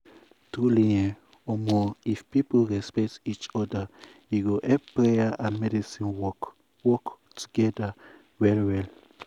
truely eeh um if people respect um each oda e go help prayer and medicine work work togeda well well um.